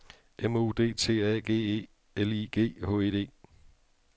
M O D T A G E L I G H E D